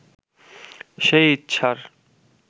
সেই ইচ্ছার